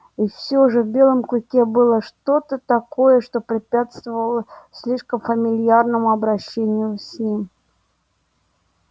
и все же в белом клыке было что то такое что препятствовало слишком фамильярному обращению с ним